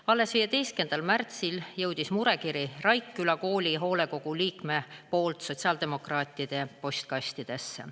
Alles 15. märtsil jõudis murekiri Raikküla Kooli hoolekogu liikmelt sotsiaaldemokraatide postkastidesse.